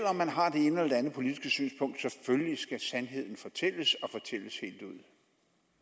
om man har det ene eller det andet politiske synspunkt skal sandheden naturligvis fortælles og fortælles helt ud